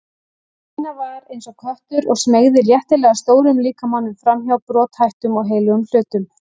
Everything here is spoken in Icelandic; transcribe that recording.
Stína var eins og köttur og smeygði léttilega stórum líkamanum framhjá brothættum og heilögum hlutum.